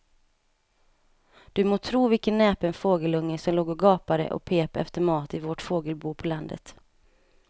Du må tro vilken näpen fågelunge som låg och gapade och pep efter mat i vårt fågelbo på landet.